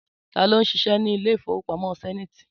Tá ló ń ṣiṣẹ́ ní ilé ìfowópamọ́ Sẹ́niiti?